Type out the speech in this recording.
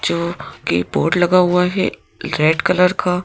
जो कि बोर्ड लगा हुआ है रेड कलर का --